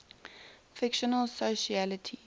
fictional socialites